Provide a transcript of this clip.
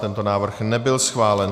Tento návrh nebyl schválen.